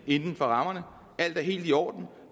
inden for rammerne at alt er helt i orden og